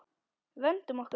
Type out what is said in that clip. Vöndum okkur.